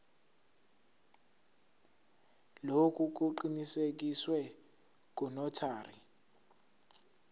lokhu kuqinisekiswe ngunotary